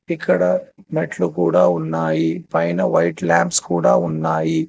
ఇక్కడ మెట్లు కూడా ఉన్నాయి పైన వైట్ ల్యాబ్స్ కూడా ఉన్నాయి.